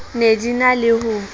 ne di na le ho